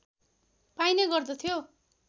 पाइने गर्दथ्यो